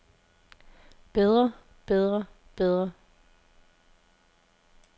bedre bedre bedre